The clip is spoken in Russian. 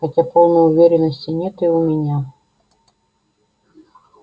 хотя полной уверенности нет и у меня